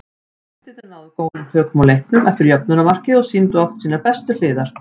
Gestirnir náðu góðum tökum á leiknum eftir jöfnunarmarkið og sýndu oft sínar bestu hliðar.